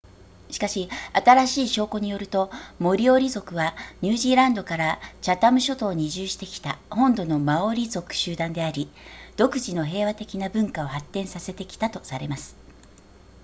しかし新しい証拠によるとモリオリ族はニュージーランドからチャタム諸島に移住してきた本土のマオリ族集団であり独自の平和的な文化を発展させてきたとされます